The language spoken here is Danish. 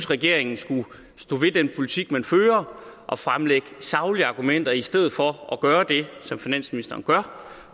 regeringen skulle stå ved den politik som man fører og fremlægge saglige argumenter i stedet for at gøre det som finansministeren gør